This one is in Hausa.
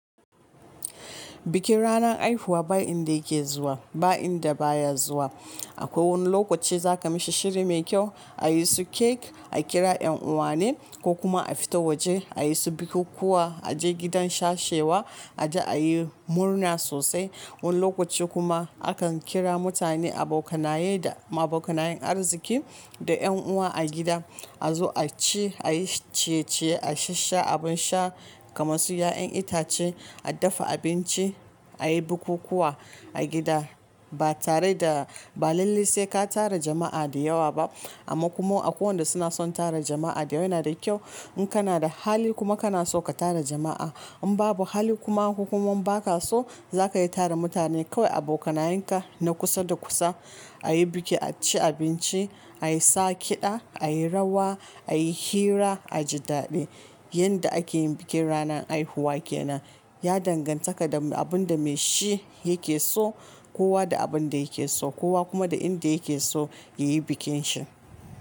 Bikin ranan haifuwa ba inda yake zuwa ba inda baya zuwa. Akwai wani lokaci zakamishi shiri mai kyau ayi su cake a kira yan uwa ne ko kuma a fita waje ayi su bikukuwa a je gidan sashewa a je ayi murna sosai. Wani lokaci kuma akan kira mutane abokanaye da ma abokanayen arziki da yan uwa a gida. Azo a ci ayi ciye ciye a sha abin sha kaman su ya'yan itace a dafa abinci a yi bikukuwa a gida ba tare da ba lalle sai ka tara jama'a da yawa ba. Amma kuma akwai wanda suna son tara jama'a da yawa yana da kyau. In kana da hali kuma kana so ka tara jama'a in babu hali kuma ku kuma baka so zakayi tara mutane kawai abokanayenka na kusa da kusa. A yi biki a ci abinci ayi sa kiɗa ayi rawa ayi hira a ji daɗi. Yanda akeyin bikin ranan haifuwa kenan ya dangantaka da abun da mai shi yake so kowa da abin da yake so kowa kuma da inda yake so yayi bikin shi.